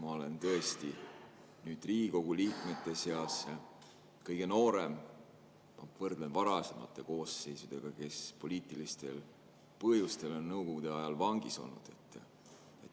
Ma olen tõesti Riigikogu liikmete seas kõige noorem, kui ma võrdlen nendega, kes varasematest koosseisudest poliitilistel põhjustel on Nõukogude ajal vangis olnud.